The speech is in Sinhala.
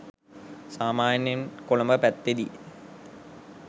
සාමාන්‍යයෙන් කොළඹ පැත්තෙදි